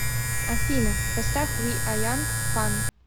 афина поставь ви а янг фан